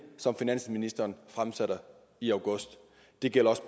som finansministeren fremsatte i august det gælder også